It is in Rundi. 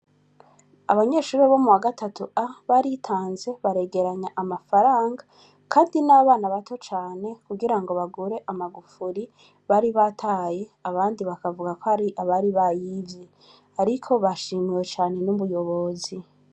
Abanyeshure bo muwagatatu A,baritanze baregeranya amafaranga ,kandi n'abana bato cane ,kugirango bagure amagufuri, bari bataye abandi bakavuga k'ari abari bayivye, ariko bashimiwe cane n'umuyobozi.